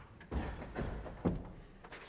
tak herre